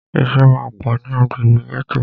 Ìṣẹ́ máà pọ̀ ní agbègbè gẹ́tò.